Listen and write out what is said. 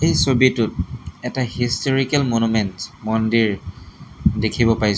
এই ছবিটোত এটা হিষ্টোৰিকেল মানুমেণ্টছ মন্দিৰ দেখিব পাইছোঁ।